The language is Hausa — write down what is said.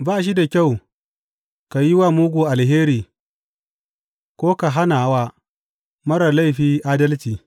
Ba shi da kyau ka yi wa mugu alheri ko ka hana wa marar laifi adalci.